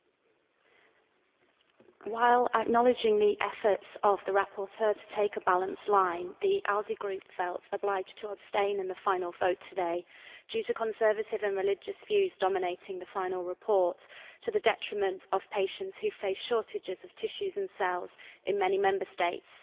Mr President, while acknowledging the efforts of the rapporteur to take a balanced line, the ALDE Group felt obliged to abstain in the final vote today due to conservative and religious views dominating the final report to the detriment of patients who face shortages of tissues and cells in many Member States.